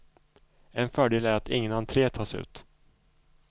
En fördel är att ingen entre tas ut.